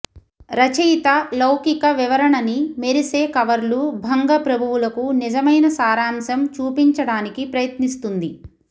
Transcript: రచయిత లౌకిక వివరణని మెరిసే కవర్లు భంగ ప్రభువులకు నిజమైన సారాంశం చూపించడానికి ప్రయత్నిస్తుంది